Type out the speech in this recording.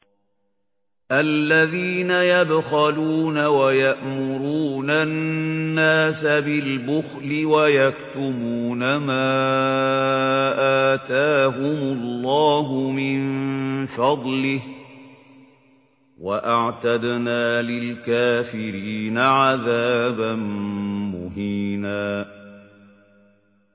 الَّذِينَ يَبْخَلُونَ وَيَأْمُرُونَ النَّاسَ بِالْبُخْلِ وَيَكْتُمُونَ مَا آتَاهُمُ اللَّهُ مِن فَضْلِهِ ۗ وَأَعْتَدْنَا لِلْكَافِرِينَ عَذَابًا مُّهِينًا